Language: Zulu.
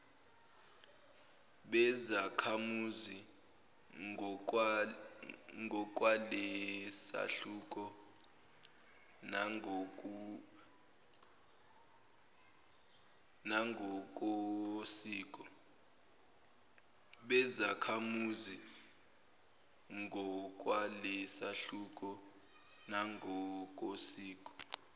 bezakhamuzi ngokwalesahluko nangokosiko